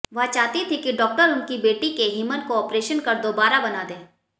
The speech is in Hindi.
वह चाहती थीं कि डॉक्टर उनकी बेटी के हिमन को ऑपरेशन कर दोबारा बना दे